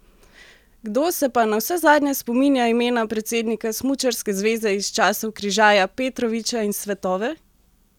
Kdo se pa navsezadnje spominja imena predsednika smučarske zveze iz časov Križaja, Petroviča in Svetove?